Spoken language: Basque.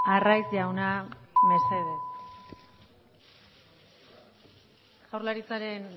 arraiz jauna mesedez jaurlaritzaren